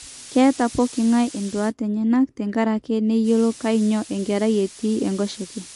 Ketaa pokingae induat enyenak tenkaraki neyiolo kanyio enkerai etii enkoshoke